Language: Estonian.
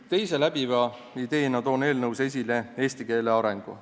Teise läbiva ideena toon eelnõus esile eesti keele arengu.